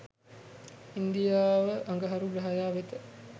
ඉන්දියාව අඟහරු ග්‍රහයා වෙත